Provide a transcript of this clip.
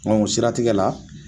o siratigɛ la